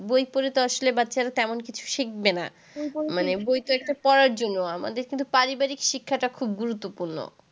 বই পড়ে তো আসলে বাচ্চারা তেমন কিছু শিখবে না মানে বই তো একটা পড়ার জন্য, কিন্তু পারিবারিক শিক্ষাটা খুব গুরুত্বপূর্ণ।